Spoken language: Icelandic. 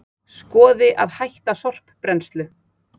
Skoði að hætta sorpbrennslu